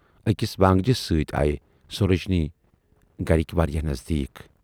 ٲکِس وٲنگجِس سٍتۍ آیہِ سورجِنۍ گرِکۍ واریاہ نٔزدیٖک۔